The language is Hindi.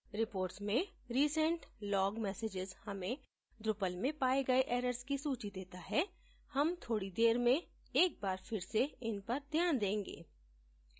reports में recent log messages हमें drupal में पाये गए errors की सूची देता है हम थोडी देर में एक बार फिर से इन पर ध्यान देंगे